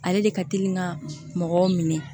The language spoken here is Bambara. Ale de ka teli ka mɔgɔw minɛ